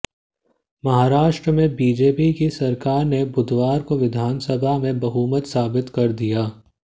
महाराष्ट्र में बीजेपी की सरकार ने बुधवार को विधानसभा में बहुमत साबित कर दिया